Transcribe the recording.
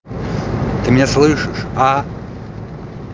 ты меня слышишь а